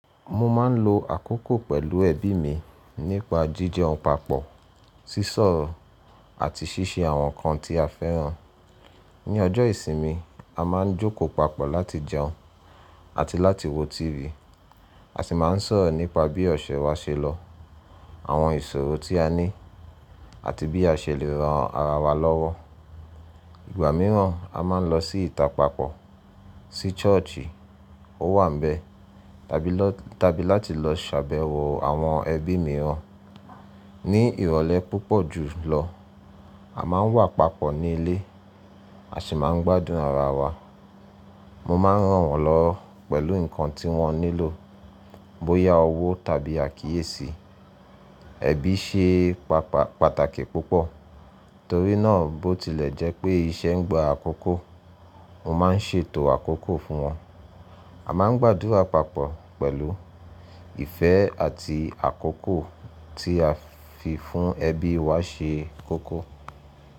Mo máa n lo àkókò pẹ̀lú ẹbí mi nípa jíjẹun papọ̀, sísọ̀ oro àti ṣíṣe àwọn nǹkan tí a fẹ́ràn. Ní ọjọ́ ìsìnmi, a máa ń jókòó papọ̀ láti jẹun àti láti wo tívì, à sì máa ń sọ̀rọ̀ nípa bí ọ̀ṣẹ́ wa ṣe lọ, àwọn ìṣòro tí a ní, àti bí a ṣe lè ran ara wa lọ́wọ́. Ìgbà mìíràn, a máa ń lọ sí ìta papọ̀, sí ṣọ́ọ̀ṣì ó wà bẹ́ẹ̀ tàbí láti lọ ṣàbẹ̀wò àwọn ẹbí mìíràn. Ní ìrọ̀lẹ́ púpọ̀ jùlọ, a máa ń wà papọ̀ ní ilé, à sí máa ń gbádùn ara wa. Mo máa ń ràn wọ́n lọ pẹ̀lú nǹkan tí wọ́n nílò, bóyá owó tàbí àkíyèsí. Ẹbí ṣe pàtàkì púpọ̀, torí náà bótilẹ̀ jẹ́ pé iṣẹ́ ń gba àkókò, mo máa ń ṣètò àkókò fún wọn. A máa ń gbàdùra papọ̀ pẹ̀lú ìfẹ́ àti àkókò tí a fi fún ẹbí wa ṣe kókó.